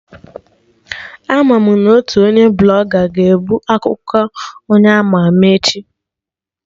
Ama mụ na otu onye Blọga ga-ebu akụkọ onye ama ama echi